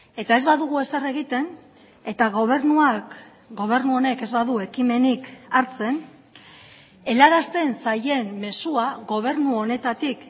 eta ez badugu ezer egiten eta gobernuak gobernu honek ez badu ekimenik hartzen helarazten zaien mezua gobernu honetatik